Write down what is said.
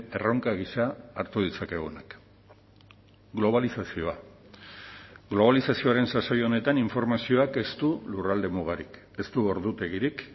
erronka gisa hartu ditzakegunak globalizazioa globalizazioaren sasoi honetan informazioak ez du lurralde mugarik ez du ordutegirik